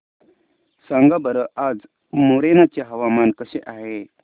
सांगा बरं आज मोरेना चे हवामान कसे आहे